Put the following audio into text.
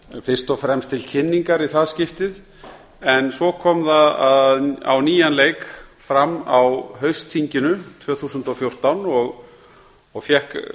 fyrst og fremst til kynningar í það skiptið en svo kom það á nýjan leik fram á haustþinginu tvö þúsund og fjórtán og fékk